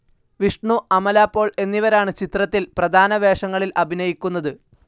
വിഷ്ണു, അമല പോൾ എന്നിവരാണ് ചിത്രത്തിൽ പ്രധാന വേഷങ്ങളിൽ അഭിനയിക്കുന്നത്.